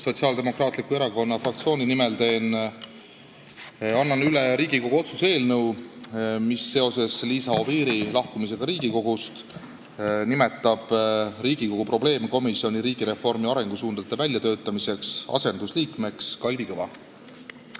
Sotsiaaldemokraatliku Erakonna fraktsiooni nimel annan üle Riigikogu otsuse eelnõu, mis seoses Liisa Oviiri lahkumisega Riigikogust nimetab Riigikogu riigireformi arengusuundade väljatöötamise probleemkomisjoni asendusliikmeks Kalvi Kõva.